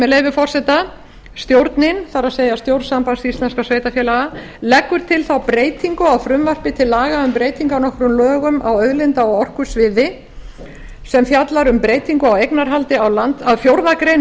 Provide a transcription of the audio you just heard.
með leyfi forseta stjórnin það er stjórn sambands íslenskra sveitarfélaga leggur til þá breytingu á frumvarpi til laga um breytingu á nokkrum lögum á auðlinda og orkusviði að fjórðu grein